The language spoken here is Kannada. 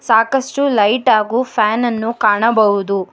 ಸಾಕಷ್ಟು ಲೈಟ್ ಹಾಗು ಫ್ಯಾನ್ ಅನ್ನು ಕಾಣಬಹುದು.